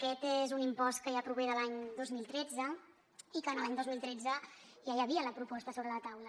aquest és un impost que ja prové de l’any dos mil tretze i que en l’any dos mil tretze ja hi havia la proposta sobre la taula